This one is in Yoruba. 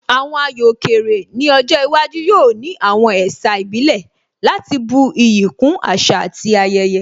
Àwọn ayò òkè rè ní ọjọ́ iwájú yóò ní àwọn ẹ̀sà ìbílẹ̀ láti bu iyì kún àṣà àti ayẹyẹ